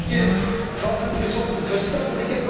Het is de terugkeer van het gezond verstand.